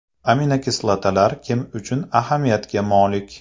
Aminokislotalar kim uchun ahamiyatga molik?